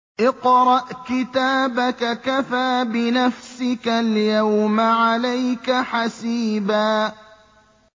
اقْرَأْ كِتَابَكَ كَفَىٰ بِنَفْسِكَ الْيَوْمَ عَلَيْكَ حَسِيبًا